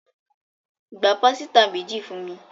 Gbà pàsìta méjì fúnmi.